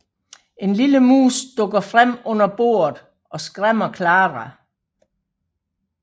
En lille mus dukker frem under bordet og skræmmer Clara